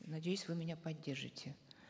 надеюсь вы меня поддержите